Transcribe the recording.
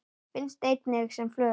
Finnst einnig sem flögur.